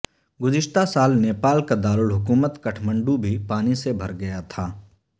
گذشتہ سال نیپال کا دارالحکومت کھٹمنڈو بھی پانی سے بھر گیا تھا